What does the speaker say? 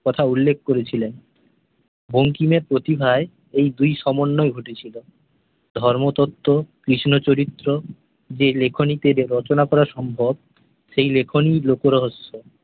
কথা উল্লেখ করেছিলেন। বঙ্কিমের প্রতিভায় ঐ দুইয়ের সমন্বয় ঘটেছিল। ধর্মতত্ত্ব, কৃষ্ণ চরিত্র যে লেখনীতে রচনা করা সম্ভব সেই লেখনীই লোকরহস্য।